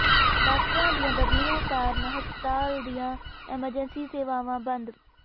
ਡਾਕਟਰਾਂ ਦੀਆਂ ਬਦਲੀਆਂ ਕਾਰਨ ਹਸਪਤਾਲ ਦੀਆਂ ਐਮਰਜੈਂਸੀ ਸੇਵਾਵਾਂ ਬੰਦ